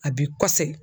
A bi kɔsegin